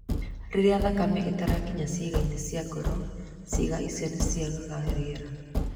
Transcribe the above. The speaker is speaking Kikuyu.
rĩrĩa thakame ĩtarakinya ciĩga-inĩ cia ngoro, ciĩga icio nĩ ciagaga rĩera